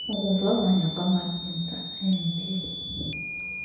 ukuvavanywa kwamabinza embewu